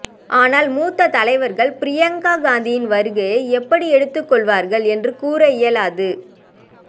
ஆனால் மூத்த தலைவர்கள் ப்ரியங்கா காந்தியின் வருகையை எப்படி எடுத்துக் கொள்வார்கள் என்றும் கூற இயலாது